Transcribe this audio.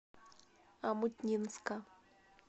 омутнинска